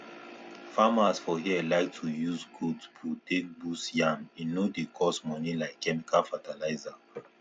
farmers for here like to use goat poo take boost yam e no dey cost money like chemical fertilizer